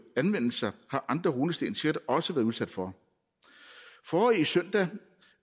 anvendelser har andre runesten sikkert også været udsat for forrige søndag